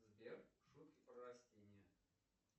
сбер шутки про растения